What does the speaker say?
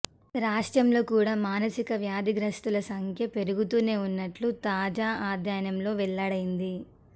రాష్ట్రంలో కూడా మానసిక వ్యాఽధిగ్రస్తుల సంఖ్య పెరుగుతూనే ఉన్నట్లు తాజా అధ్యయనంలో వెల్లడైంది